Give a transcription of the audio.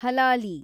ಹಲಾಲಿ